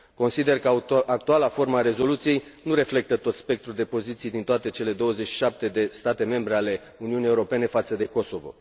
Consider că actuala formă a rezoluției nu reflectă tot spectrul de poziții din toate cele 27 de state membre ale Uniunii Europene față de Kosovo.